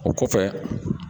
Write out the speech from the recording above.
O kɔfɛ